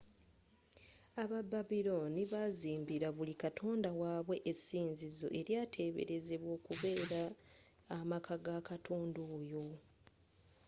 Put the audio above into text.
aba babilooni baazimbira buli katonda waabwe essinzizo eryatebeerezebwa okubeera amaka ga katonda oyo